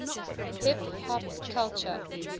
hip hop culture